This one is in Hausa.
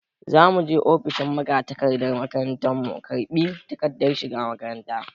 Za mu je ofishin magatakardar makaranta mu karɓi takardar shiga makaranta.